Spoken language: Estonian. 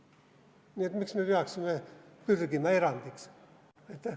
Nii et miks me peaksime pürgima erandiks?